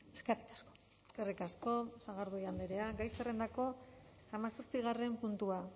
eskerrik asko eskerrik asko sagardui andrea gai zerrendako hamazazpigarren puntua